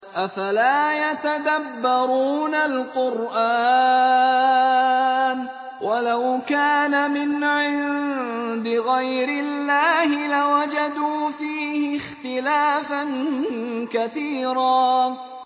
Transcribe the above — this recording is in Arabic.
أَفَلَا يَتَدَبَّرُونَ الْقُرْآنَ ۚ وَلَوْ كَانَ مِنْ عِندِ غَيْرِ اللَّهِ لَوَجَدُوا فِيهِ اخْتِلَافًا كَثِيرًا